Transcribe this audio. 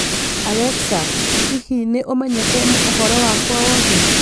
Alexa, hihi nĩ ũmenyete ũhoro wakwa wothe?